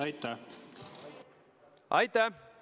Aitäh!